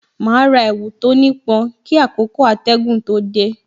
Ma ra èwù tó ní pọn kí àkókò atẹgun tó dé